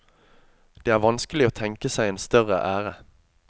Det er vanskelig å tenke seg en større ære.